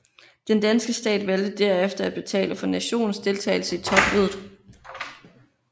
Den danske stat valgte derefter at betale for nationens deltagelse i topmødet